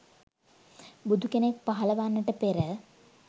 බුදු කෙනෙක් පහළ වන්නට පෙර